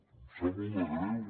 em sap molt de greu